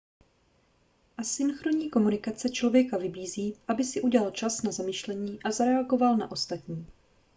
asynchronní komunikace člověka vybízí aby si udělal čas na zamyšlení a zareagoval na ostatní